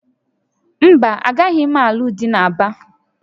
Mba, agaghị m alụ dị na Aba